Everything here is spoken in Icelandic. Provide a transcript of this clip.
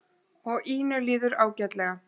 Og Ínu líður ágætlega.